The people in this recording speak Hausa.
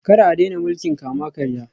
Kar a daina mulkin kama-karya